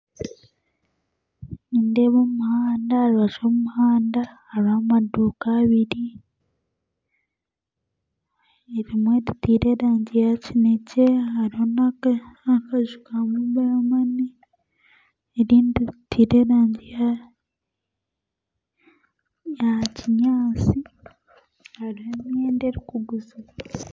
Nindeeba omuhanda aharubaju rwomuhanda hariho amaduuka abiri ebimwe ritiire erangi ya kinekye hariho nakaju ka mobile money erindi riteire erangi ya kinyatsi hariho emyenda erikuguziibwa